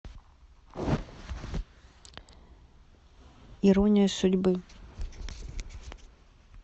ирония судьбы